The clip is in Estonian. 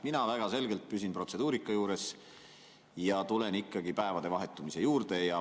Mina väga selgelt püsin protseduurika juures ja tulen päevade vahetumise juurde.